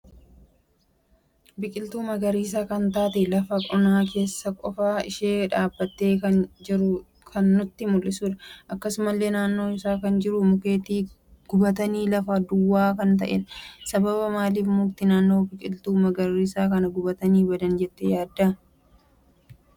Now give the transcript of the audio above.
Biqiltuu magariisa kan taatee lafa onaa keessa qofa isa dhaabbate kan jiru kan nutti muldhisudha. Akkasumallee naannoo isaa kan jiru mukeeti gubatani lafa duwwaa kan ta'edha. Sabaaba maaliif mukti naannoo biqiltuu magarsiisa kana gubatani badan jette yaadda?